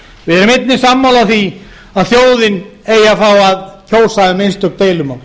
við erum einnig sammála því að þjóðin eigi að fá að kjósa um einstök deilumál